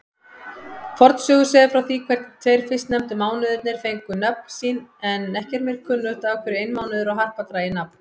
Fornsögur segja frá því hvernig tveir fyrstnefndu mánuðirnir fengu nöfn sín, en ekki er mér kunnugt af hverju einmánuður og harpa dragi nafn.